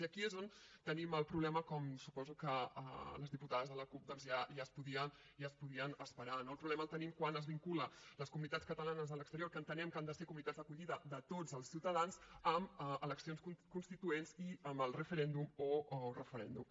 i aquí és on tenim el problema com suposo que les diputades de la cup doncs ja es podien esperar no el problema el tenim quan es vinculen les comunitats catalanes a l’exterior que entenem que han de ser comunitats d’acollida de tots els ciutadans amb eleccions constituents i amb el referèndum o referèndum